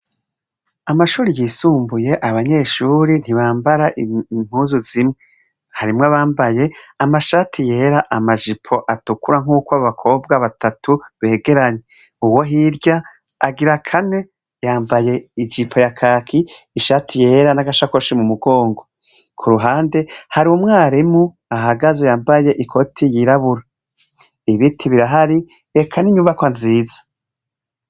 Amashuri yisumbuye abanyeshuri ntibambara impuzu zimwe harimwo abambaye amashati yera amajipo atukura nk'uko abakobwa batatu begeranye uwo hirya agira kane yambaye ijipo ya kaki ishati yera n'agashakoshi mu mugongo ku ruhande hari umwarimu ahagaze yambaye ikoti yirabura ibiti birahari reka n'inyubako nziza.